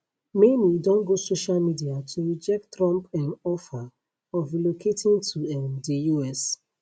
many don go social media to reject trump um offer of relocating to um di us